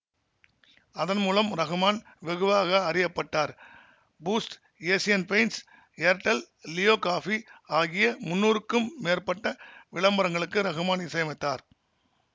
அதன் மூலம் ரகுமான் வெகுவாக அறியப்பட்டார்பூஸ்ட்ஏசியன் பெயின்ட்ஸ்ஏர்டெல்லியோ காபி ஆகிய முன்னூறுக்கும் மேற்பட்ட விளம்பரங்களுக்கு ரகுமான் இசையமைத்தார்